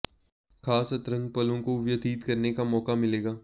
खास अंतरंग पलों को भी व्यतित करने का मौका मिलेगा